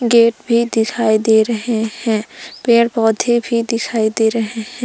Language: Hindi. गेट भी दिखाई दे रहे हैं पेड़ पौधे भी दिखाई दे रहे हैं।